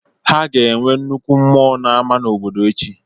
Ha ga-enwe nnukwu mmụọ na ama obodo echi